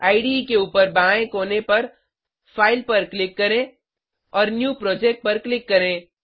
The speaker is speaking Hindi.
इडे के ऊपर बाएं कोने पर फाइल पर क्लिक करें और न्यू प्रोजेक्ट पर क्लिक करें